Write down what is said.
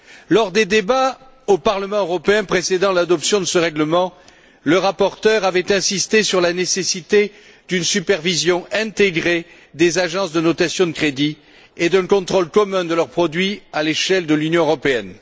Lors des débats au Parlement européen précédant l'adoption de ce règlement, le rapporteur avait insisté sur la nécessité d'une supervision intégrée des agences de notation de crédit et d'un contrôle commun de leurs produits à l'échelle de l'Union européenne.